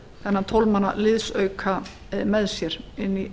þennan tólf manna liðsauka með sér inn í